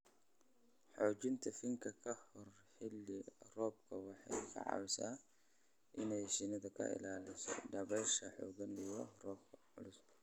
Xoojinta finan ka hor xilli-roobaadka waxay ka caawisaa inay shinnida ka ilaaliso dabaylaha xooggan iyo roobabka culus.